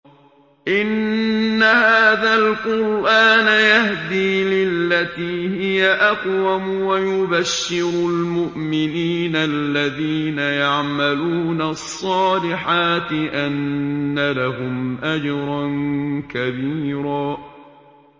إِنَّ هَٰذَا الْقُرْآنَ يَهْدِي لِلَّتِي هِيَ أَقْوَمُ وَيُبَشِّرُ الْمُؤْمِنِينَ الَّذِينَ يَعْمَلُونَ الصَّالِحَاتِ أَنَّ لَهُمْ أَجْرًا كَبِيرًا